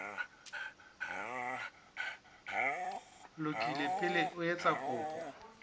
lokile pele o etsa kopo